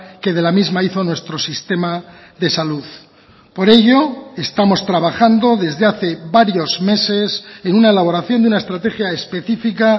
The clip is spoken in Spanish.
que de la misma hizo nuestro sistema de salud por ello estamos trabajando desde hace varios meses en una elaboración de una estrategia específica